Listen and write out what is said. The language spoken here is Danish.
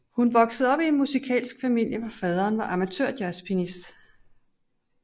Hun voksede op i en musikalsk familie hvor faderen var amatørjazzpianist